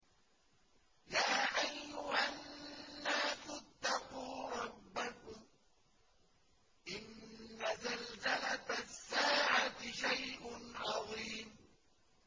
يَا أَيُّهَا النَّاسُ اتَّقُوا رَبَّكُمْ ۚ إِنَّ زَلْزَلَةَ السَّاعَةِ شَيْءٌ عَظِيمٌ